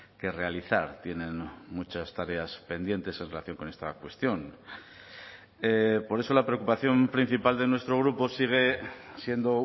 que realizar tienen muchas tareas pendientes en relación con esta cuestión por eso la preocupación principal de nuestro grupo sigue siendo